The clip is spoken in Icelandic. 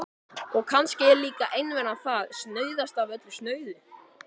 Og kannski er líka einveran það snauðasta af öllu snauðu.